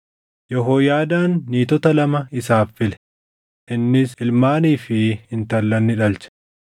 Yehooyaadaan niitota lama isaaf file; innis ilmaanii fi intallan ni dhalche.